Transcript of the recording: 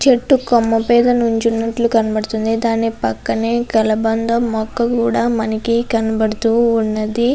అలాగే చెట్టు కొమ్మ మీద నిల్చున్నటు కనపడుతున్నాయ్ దాని పక్కనే మనకి కలబంద మొక్క కూడా కనపడుతూఉన్నది.